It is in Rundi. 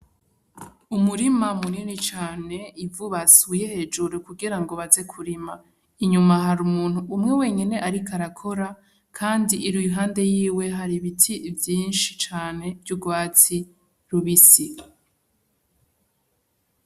Umurima munini cane, ivu basuye hejuru kugirango baze kurima, inyuma hari umuntu umwe wenyene ariko arakora kandi iruhande yiwe hari ibiti vyinshi cane vy'urwatsi rubisi.